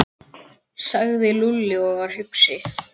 sagði Lúlli og var hugsi.